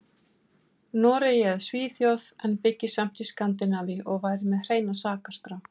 Noregi eða Svíþjóð en byggi samt í Skandinavíu og væri með hreina sakaskrá.